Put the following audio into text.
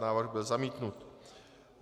Návrh byl zamítnut.